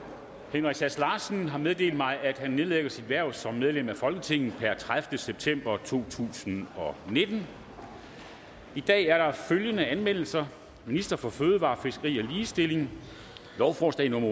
henrik sass larsen har meddelt mig at han nedlægger sit hverv som medlem af folketinget per tredivete september to tusind og nitten i dag er der følgende anmeldelser ministeren for fødevarer fiskeri og ligestilling lovforslag nummer